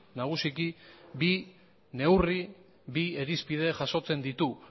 nagusiki bi neurri bi irizpide jasotzen ditu